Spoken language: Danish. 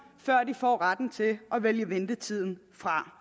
før de får retten til at vælge ventetiden fra